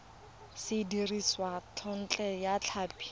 se dirisitswe thekontle ya tlhapi